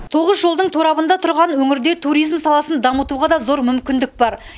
тоғыз жолдың торабында тұрған өңірде туризм саласын дамытуға да зор мүмкіндік бар